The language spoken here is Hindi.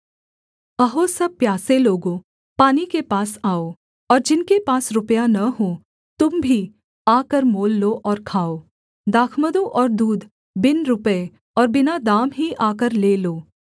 अहो सब प्यासे लोगों पानी के पास आओ और जिनके पास रुपया न हो तुम भी आकर मोल लो और खाओ दाखमधु और दूध बिन रुपये और बिना दाम ही आकर ले लो